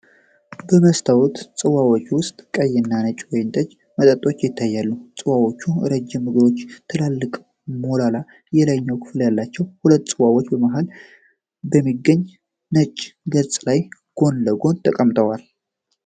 በመስታወት ጽዋዎች ውስጥ ቀይና ነጭ ወይን ጠጅ መጠጦች ይታያሉ። ጽዋዎቹ ረጅም እግሮችና ትልልቅ ሞላላ የላይኛው ክፍል አላቸው። ሁለቱም ጽዋዎች በመሃል በሚገኝ ነጭ ገጽ ላይ ጎን ለጎን ተቀምጠዋል።